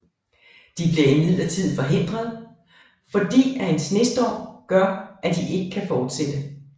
De bliver imidlertid forhindret fordi at en snestorm gør at de ikke kan fortsætte